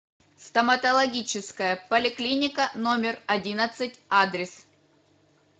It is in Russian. стоматологическая поликлиника номер одиннадцать адрес